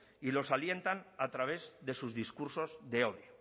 y los alientan a través de sus discursos de hoy